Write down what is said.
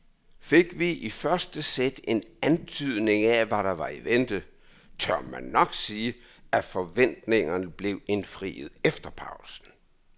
Fik vi i første sæt en antydning af hvad der var i vente, tør man nok sige at forventningerne blev indfriet efter pausen.